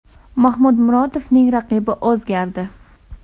Mahmud Murodovning raqibi o‘zgardi.